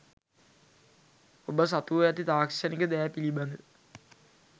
ඔබ සතුව ඇති තාක්ෂණික දෑපිළිබඳ